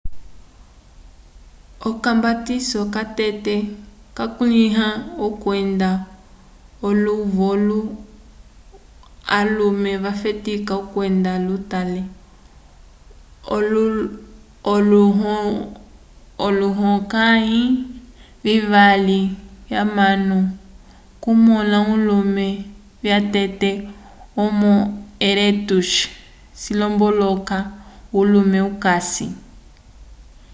ocambatiso catete cakulĩhiwa okwenda l’ovolu alume vafetika okwenda lutate olohulukãyi vivali k’anyamo k’okumõla alume vyatete homo erectus cilomboloka ulume okasi